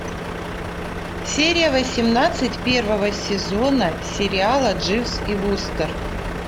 серия восемнадцать первого сезона сериала дживс и вустер